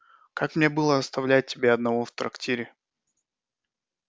как мне было оставлять тебя одного в трактире